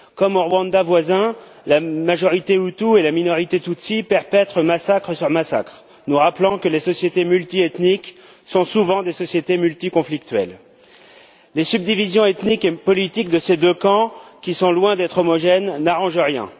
Comme au Rwanda voisin, la majorité hutue et la minorité tutsie perpètrent massacre sur massacre, nous rappelant que les sociétés multiethniques sont souvent des sociétés multiconflictuelles. Les subdivisions ethniques et politiques de ces deux camps, qui sont loin d'être homogènes, n'arrangent rien.